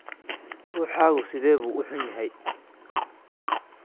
Ruuxaagu sidee buu u xun yahay?